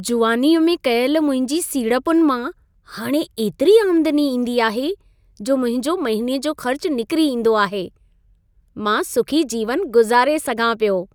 जुवानीअ में कयल मुंहिंजी सीड़पुनि मां हाणे एतिरी आमदनी ईंदी आहे, जो मुंहिंजो महिने जो ख़र्च निकिरी ईंदो आहे। मां सुखी जीवन गुज़ारे सघां पियो।